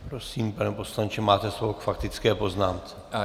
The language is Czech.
Prosím, pane poslanče, máte slovo k faktické poznámce.